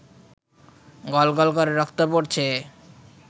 গল গল করে রক্ত পড়ছে